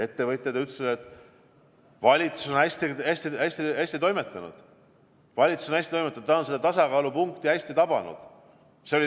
Ettevõtjad ütlesid, et valitsus on hästi toimetanud, ta on seda tasakaalupunkti hästi tabanud.